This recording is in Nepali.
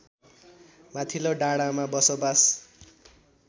माथिल्लो डाँडामा बसोबास